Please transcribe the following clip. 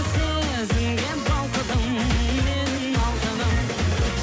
сезімге балқыдым менің алтыным